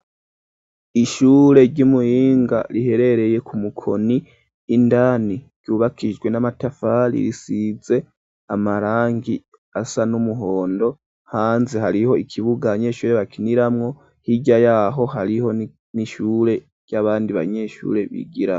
Ishure ry'i Muyinga riherereye ku Mukoni. Indani ryubakijwe n'amatafari risize amarangi asa n'umuhondo. Hanze hariho ikibuga abanyeshure bakiniramwo, hirya y'aho, hariho n'ishure ry'abandi banyeshure bigiramwo.